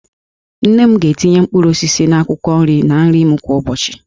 Nne m ga-etinye mkpụrụ osisi na akwụkwọ nri na nri m kwa ụbọchị